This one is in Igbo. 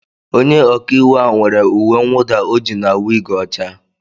Onye ọkà íwú a nwere uwe nwuda ojii na wig ọcha.